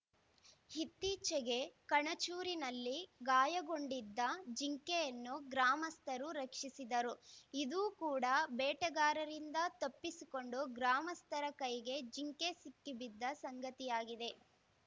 ಇತ್ತೀಚೆಗೆ ಕಣಚೂರಿನಲ್ಲಿ ಗಾಯಗೊಂಡಿದ್ದ ಜಿಂಕೆಯನ್ನು ಗ್ರಾಮಸ್ಥರು ರಕ್ಷಿಸಿದ್ದರು ಇದು ಕೂಡಾ ಬೇಟೆಗಾರರಿಂದ ತಪ್ಪಿಸಿಕೊಂಡು ಗ್ರಾಮಸ್ಥರ ಕೈಗೆ ಜಿಂಕೆ ಸಿಕ್ಕಿಬಿದ್ದ ಸಂಗತಿಯಾಗಿದೆ